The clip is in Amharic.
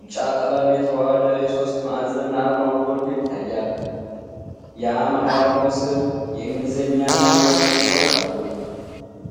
ቢጫ ቀለም የተዋሀደ የሶስት ማዕዘን አርማው ጎልቶ ይታያል። የአርማው ስር የእንግሊዝኛና የአማርኛ ጽሑፎች አሉ።